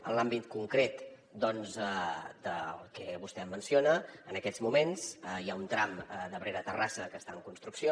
en l’àmbit concret doncs del que vostè menciona en aquests moments hi ha un tram d’abrera a terrassa que està en construcció